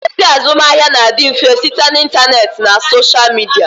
Ozi azụmahịa na-adị mfe site na intaneet na soshal midia